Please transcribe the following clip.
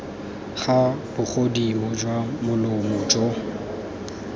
ga bogodimo jwa molomo jo